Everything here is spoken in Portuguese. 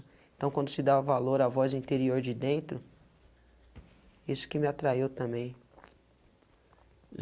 Então quando se dá valor à voz interior de dentro, isso que me atraiu também. E